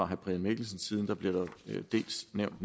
herre brian mikkelsens side bliver der dels nævnt